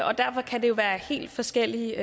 og derfor kan det jo være helt forskellige